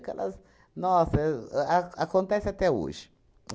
Aquelas... Nossa, a acontece até hoje.